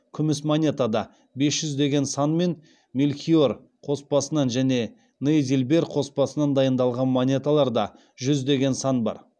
күміс монетада бес жүз деген сан мен мельхиор қоспасынан және нейзильбер қоспасынан дайындалған монеталарда жүз деген сан бар